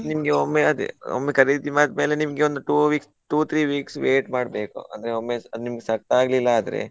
ನಿಮ್ಗೆ ಒಮ್ಮೆ ಅದೇ ಒಮ್ಮೆ ಖರೀದಿ ಮಾಡಿದ್ಮೇಲೆ ನಿಮ್ಗೆ ಒಂದು two weeks, two, three weeks wait ಮಾಡ್ಬೇಕು, ಅಂದ್ರೆ ಒಮ್ಮೆ ಅದ್ ನಿಮ್ಗೆ set ಆಗ್ಲಿಲ್ಲಾದ್ರೆ.